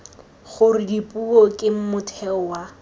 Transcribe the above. gore dipuo ke motheo wa